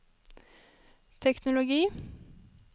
teknologi